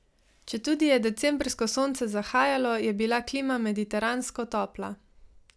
Četudi je decembrsko sonce zahajalo, je bila klima mediteransko topla.